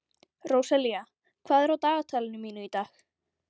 Róselía, hvað er á dagatalinu mínu í dag?